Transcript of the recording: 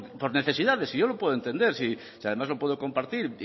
por necesidades si yo lo puedo entender si además lo puedo compartir